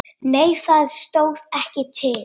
Nei það stóð ekki til.